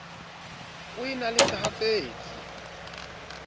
o e na le sehatsetsi